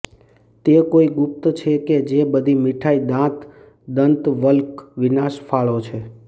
તે કોઈ ગુપ્ત છે કે જે બધી મીઠાઈ દાંત દંતવલ્ક વિનાશ ફાળો છે